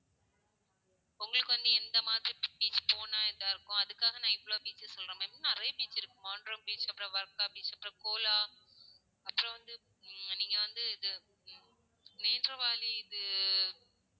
உங்களுக்கு வந்து எந்த மாதிரி beach போனா இதா இருக்கும் அதுக்காக நான் இவ்வளோ details சொல்றேன் ma'am இன்னும் நிறைய beach இருக்கு, மாண்ட்ரெம் beach, அப்பறம் வர்கா beach அப்பறம், cola அப்பறம் வந்து நீங்க வந்து இது நெட்ராவலி இது